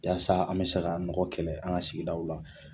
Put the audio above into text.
Yaasa an mi se ka nɔgɔ kɛlɛ an ka sigidaw la